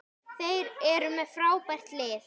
Þeir eru með frábært lið.